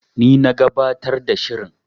Ni na gabatar da shirin.